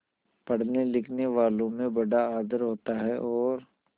पढ़नेलिखनेवालों में बड़ा आदर होता है और